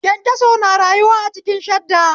Kyankyaso na rayuwa a ciki shadda